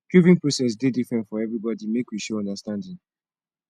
grieving process dey different for everybody make we show understanding